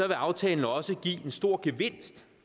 vil aftalen også give en stor gevinst